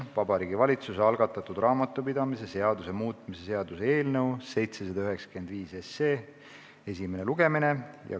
Vabariigi Valitsuse algatatud raamatupidamise seaduse muutmise seaduse eelnõu 795 esimene lugemine.